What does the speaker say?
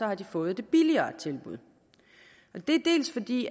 har de fået det billigere tilbud det er dels fordi